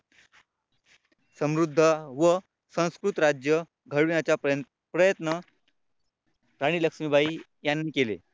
समृद्ध व संस्कृत राज्य घडविण्याचा प्रयत्न राणी लक्ष्मीबाई यांनी केले.